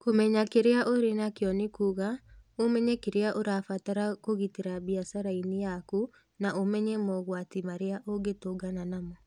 Kũmenya kĩrĩa ũrĩ nakĩo nĩ kuuga ũmenye kĩrĩa ũrabatara kũgitĩra biacara-inĩ yaku na ũmenye mogwati marĩa ũngĩtũngana namo.